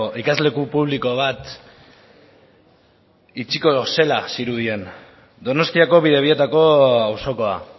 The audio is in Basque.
ikasleku publiko bat itxiko zela zirudien donostiako bidebietako auzokoa